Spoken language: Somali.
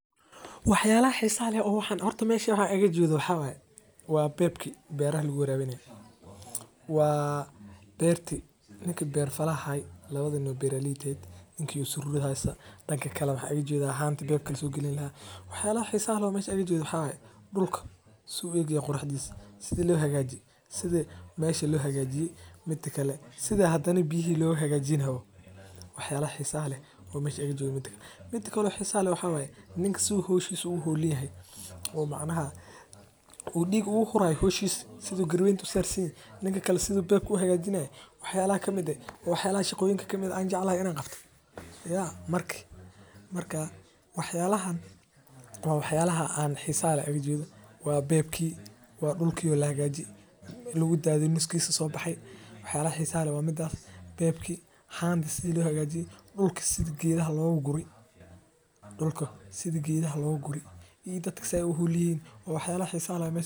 Wax yaabaha xiisaha leh oo aan halkan ooga jeedo waxaa waye beebka beerta lagu warabinaye oo lagu tukameysto oo aadka looga yaqaano kenya gaar ahaan marka aay tagto isbitaalka waxaa lagu daraa nyanya lajarjaray boosha waxaa kale oo muhiim u ah in la isticmaalo wuxuu leyahay dar yeel gaar ah.